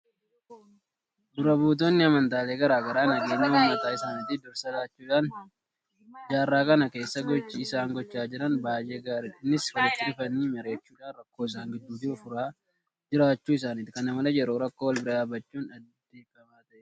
Dura buutonni amantaalee garaa garaa nageenya uummata isaaniitiif dursa laachuudhaan jaarraa kana keessa gochi isaan gochaa jiran baay'ee gaariidha. Innis walitti dhufanii mariyachuudhaan rakkoo isaan gidduu jiru furaa jiraachuu isaaniiti. Kana malees yeroo rakkoo walbira dhaabbachuun aadeffamaa ta'eera.